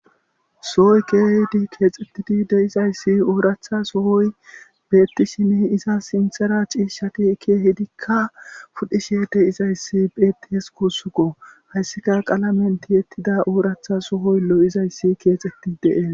sohoy keehidi keexxettidi deizayssi ooratha sohoy beettishini iza sinthera ciishshati kehidikka pudhishe de izayssi beettihes kuussukko hayssika qaala menti ettida ooratha sohoy lo7izayssi keexetti dee.